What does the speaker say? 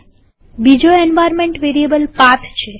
બીજો environment variable path છે